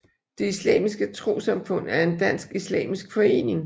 Det Islamiske Trossamfund er en dansk islamisk forening